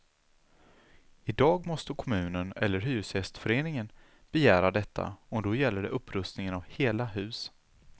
Idag måste kommunen eller hyresgästföreningen begära detta och då gäller det upprustningar av hela hus.